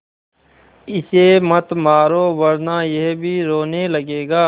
इसे मत मारो वरना यह भी रोने लगेगा